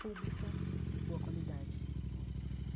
pública, de boa qualidade né.